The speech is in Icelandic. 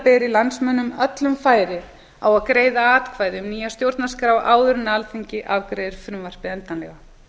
beri landsmönnum öllum færi á að greiða atkvæði um nýja stjórnarskrá áður en alþingi afgreiðir frumvarpið endanlega